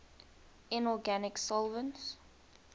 inorganic solvents